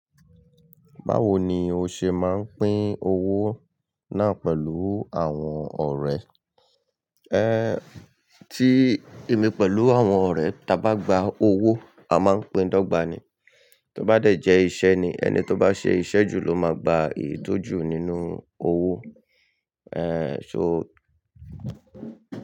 Báwo ni o ṣe máa ń pín owó náà pẹ̀lú àwọn ọ̀rẹ́? Ẹ ti èmi pẹ̀lú àwọn ọ̀rẹ́ tá bá gba owó a máa ń pín dọ́gba ni. Tó bá dẹ̀ jẹ́ iṣẹ́ ni, ẹni tó bá ṣe iṣẹ́ jù ló máa gba èyi tò jù nínú owó. Ẹ̀ so.